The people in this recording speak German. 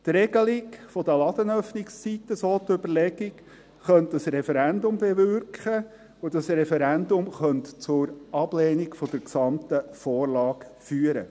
Die Regelung der Ladenöffnungszeiten, so die Überlegung, könnte ein Referendum bewirken, und dieses Referendum könnte zur Ablehnung der gesamten Vorlage führen.